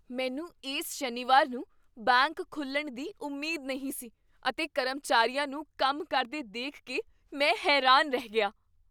ਮੈਨੂੰ ਇਸ ਸ਼ਨੀਵਾਰ ਨੂੰ ਬੈਂਕ ਖੁੱਲ੍ਹਣ ਦੀ ਉਮੀਦ ਨਹੀਂ ਸੀ ਅਤੇ ਕਰਮਚਾਰੀਆਂ ਨੂੰ ਕੰਮ ਕਰਦੇ ਦੇਖ ਕੇ ਮੈਂ ਹੈਰਾਨ ਰਹਿ ਗਿਆ।